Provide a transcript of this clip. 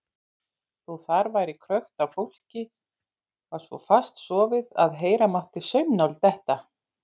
Þó þar væri krökkt af fólki var svo fast sofið að heyra mátti saumnál detta.